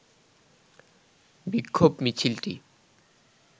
বিক্ষোভ মিছিলটি